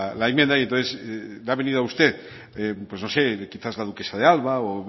la enmienda y entonces le ha venido a usted pues no sé quizás la duquesa de alba o